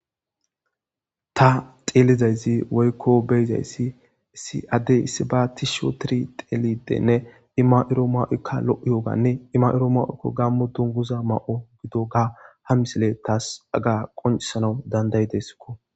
ta xeelizaysi woykko beyzayssi issi addey isiba tish otiri xeelidenne i ma'iro ma'ookka lo'iyooganne i mairo ma'okko gaamo dunguza mayo gididoga ha misile taas qonisanawu dandayideskko